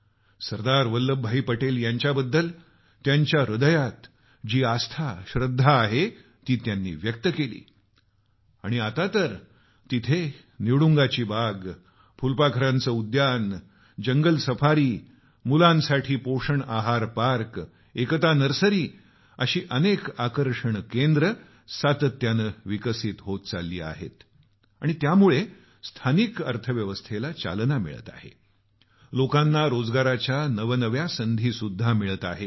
सरदार वल्लभभाई पटेल यांच्याबद्दल त्यांच्या हृदयात जी आस्था श्रद्धा आहे ती त्यांनी व्यक्त केली आणि आता तर तिथं निवडुंगाची बाग फुलपाखरू उद्यान जंगल सफारी मुलांसाठी पोषण आहार पार्क एकता नर्सरी असे अनेक आकर्षण केंद्र सातत्यानं विकसित होत चालले आहेत आणि यामुळे स्थानिक अर्थव्यवस्थेला चालना मिळत आहे आणि लोकांना रोजगाराच्या नव्या नव्या संधीसुद्धा मिळत आहेत